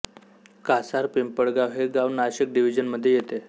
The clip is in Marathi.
कासार पिंपळगाव हे गाव नाशिक डिव्हीजन मधे येते